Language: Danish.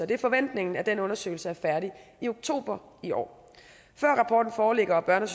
det er forventningen at den undersøgelse er færdig i oktober i år før rapporten foreligger og børne og